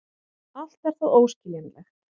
Allt er það óskiljanlegt.